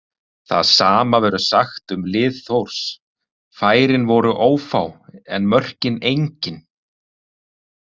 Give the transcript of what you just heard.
Það sama verður sagt um lið Þórs, færin voru ófá en mörkin engin.